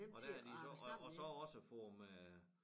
Og der er de så og og så også få dem øh